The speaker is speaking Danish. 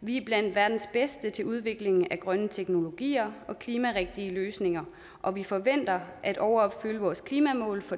vi er blandt verdens bedste til udvikling af grønne teknologier og klimarigtige løsninger og vi forventer at overopfylde vores klimamål for